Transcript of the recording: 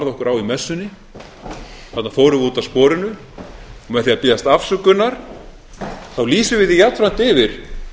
á í messunni þarna fórum við út af sporinu og með því að biðjast afsökunar lýsum við því jafnframt yfir